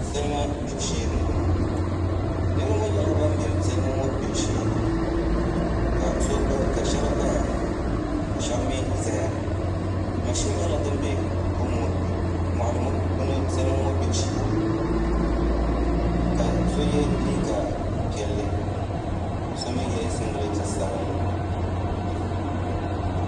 Salima gbibu shee n boŋo niraba ŋo nyɛla ban bɛ salima ŋo gbibu shee ka shab gbaya ka shab mii ʒɛya mashin nyɛla din bɛ salima ŋo gbibu shee ka so yɛ liiga piɛlli ka so mii yɛ singirɛti sabinli